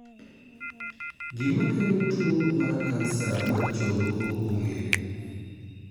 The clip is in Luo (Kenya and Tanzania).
Gima kelo tuwo mar kansa mar chogo ok ong'ere.